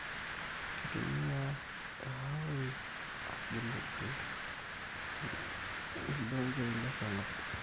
Kitumiai irharoii agilgil irdongeii le sarngab